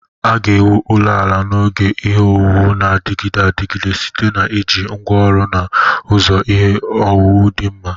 A ga-ewu ụlọ ala n'oge ihe owuwu na-adịgide adịgide site na iji ngwa oru na ụzọ ihe owuwu di nma.